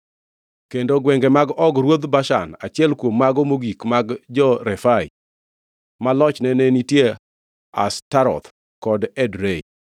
Kendo gwenge mag Og ruodh Bashan, achiel kuom mago mogik mag jo-Refai, ma lochne ne nitie Ashtaroth kod Edrei.